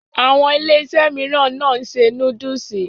Àwọn Iléeṣẹ́ mìíràn náà n ṣe núdúsì.